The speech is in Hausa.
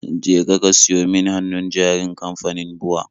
Jeka ka siyo min hannun jarin kamfanin BUA